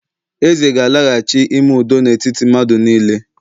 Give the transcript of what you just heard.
eze gālaghachi, ime udo na etiti madu nile